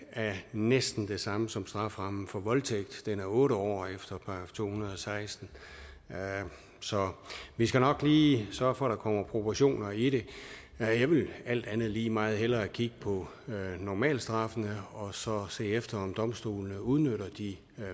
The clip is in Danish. næsten det samme som strafferammen for voldtægt den er otte år efter § to hundrede og seksten så vi skal nok lige sørge for at der kommer proportioner i det jeg vil alt andet lige meget hellere kigge på normalstraffene og så se efter om domstolene udnytter de